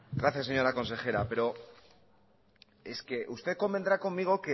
gracias señora consejera pero es que usted convendrá conmigo